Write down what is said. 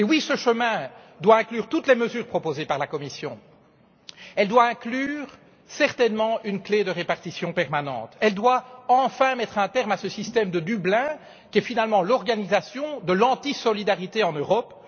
Oui, cette solution doit inclure toutes les mesures proposées par la Commission. Elle doit inclure certainement une clé de répartition permanente. Elle doit enfin mettre un terme à ce système de Dublin qui est finalement l'organisation de l'anti-solidarité en Europe.